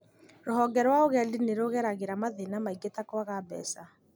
ruhonge rwa ũgendi nĩ rũgeragĩra mathĩna maingĩ ta kwaga mbeca